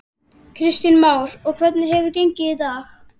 Kristján Már: Og hvernig hefur gengið í dag?